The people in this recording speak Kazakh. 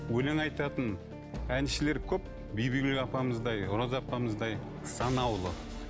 өлең айтатын әншілер көп бибігүл апамыздай роза апамыздай санаулы